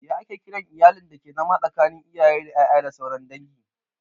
Ya ake kiran iyalin dake zama tsakanin iyaye da ƴaƴa da sauran dangi?